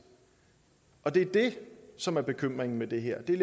det er det som er bekymringen i det her det er